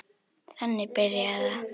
Þannig byrjaði það.